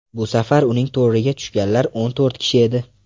Bu safar uning to‘riga tushganlar o‘n to‘rt kishi edi.